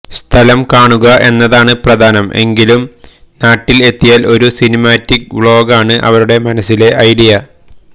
സ്ഥലം കാണുക എന്നതാണ് പ്രധാനം എങ്കിലും നാട്ടില് എത്തിയാല് ഒരു സിനിമാറ്റിക്ക് വ്ളോഗാണ് ഇവരുടെ മനസിലെ ഐഡിയ